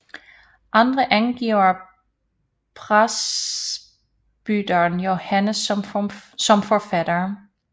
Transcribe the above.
Andre angiver presbyteren Johannes som forfatter